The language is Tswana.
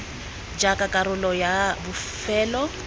r jaaka karolo ya bofelo